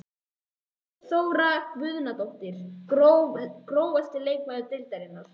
Guðný Þóra Guðnadóttir Grófasti leikmaður deildarinnar?